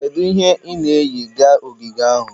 Kedu ihe ị na-eyi ga ogige ahụ?